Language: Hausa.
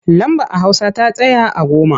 Lamba a hausa ta tsaya a goma.